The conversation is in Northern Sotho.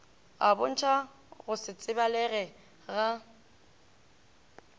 a bontšhagore go setsebalege ga